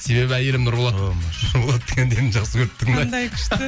себебі әйелім нұрболат шынболаттың әндерін жақсы көріп тыңдайды